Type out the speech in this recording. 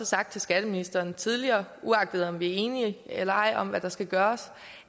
sagt til skatteministeren tidligere uagtet om vi er enige eller ej om hvad der skal gøres